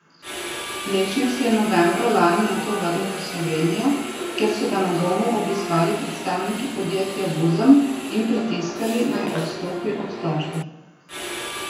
Lešnik se je novembra lani nato vrnil v Slovenijo, kjer so ga na domu obiskali predstavniki podjetja Vuzem in pritiskali, naj odstopi od tožbe.